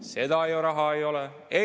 Seda raha ei ole!